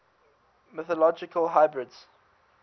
mythological hybrids